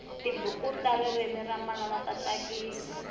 tibuku ta ririmi ra manana ta tsakisa